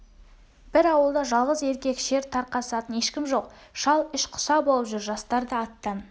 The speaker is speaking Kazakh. бір ауылда жалғыз еркек шер тарқатысатын ешкім жоқ шал іш құса болып жүр жастар да аттан